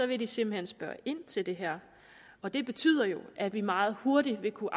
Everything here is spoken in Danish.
vil de simpelt hen spørge ind til det her og det betyder jo at vi meget hurtigt vil kunne